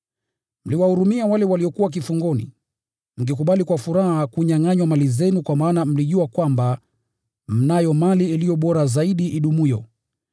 Mliwahurumia wale waliokuwa kifungoni, mkikubali kwa furaha kunyangʼanywa mali zenu kwa maana mlijua kwamba mnayo mali iliyo bora zaidi idumuyo.